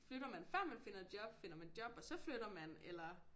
Flytter man før man finder et job finder man job og så flytter man eller